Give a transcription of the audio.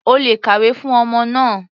O lè kàwé fún ọmọ náà.